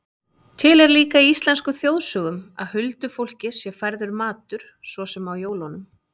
Til er líka í íslenskum þjóðsögum að huldufólki sé færður matur, svo sem á jólum.